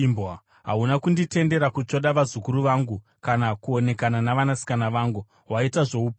Hauna kunditendera kutsvoda vazukuru vangu kana kuonekana navanasikana vangu. Waita zvoupenzi.